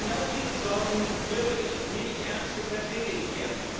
Genau diese Sorgen höre ich, nehme ich ernst und vertrete ich hier.